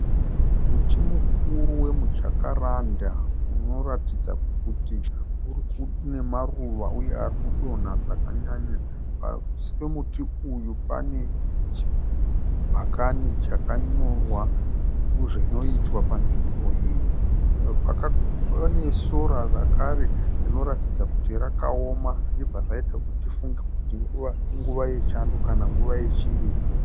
Muti mukuru wemujakaranda unoratidza kuti une maruva uye ari kudonha zvakanyanya. Pasi pemuti uyu pane chibhakani chakanyorwa zvinoitwa panzvimbo iyi. Pane sora zvakare rinoratidza kuti rakaoma zvinobva zvaita kuti tifunge kuti inguva yechando kana kuti nguva yechirimo.